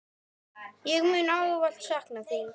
Ég mun ávallt sakna þín.